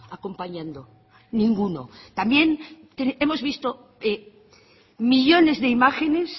acompañando ninguno también hemos visto millónes de imágenes